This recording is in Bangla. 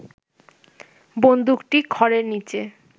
বন্দুকটি খড়ের নিচে